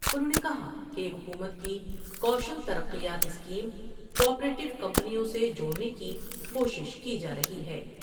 انھوں نے کہا کہ حکومت کی کوشل تر قیات اسکیم کو آ پر یوکمپنیوں سے جوڑنے کی کوشش کی جارہی ہے۔